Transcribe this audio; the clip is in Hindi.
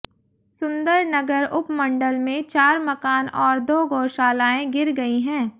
सुंदरनगर उपमंडल में चार मकान और दो गौशालाएं गिर गई हैं